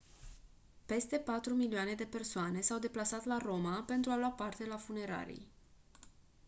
peste patru milioane de persoane s-au deplasat la roma pentru a lua parte la funeralii